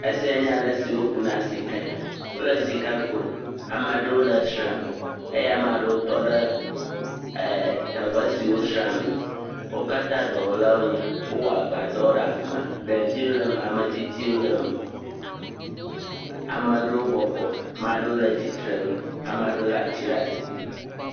Asia nye ale si woku na sikae, wole sika kum ame aɖewo le esram eye ame aɖewo tɔ eh teƒe siwo sram me, wo kata dɔwɔla wonye, wo wɔ agba dɔ ɖe afima, ɖeviwo le eme, ametsitsiwo le eme, ame aɖewo bɔbɔ, maɖewo le tsitre nu, ame aɖeow le ati ɖe asi.